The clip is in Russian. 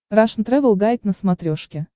рашн тревел гайд на смотрешке